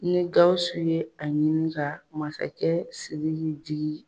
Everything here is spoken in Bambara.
Ni Gawusu ye a ɲini ka masakɛ Sidiki digi